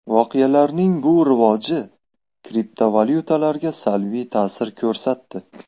Voqealarning bu rivoji kriptovalyutalarga salbiy ta’sir ko‘rsatdi.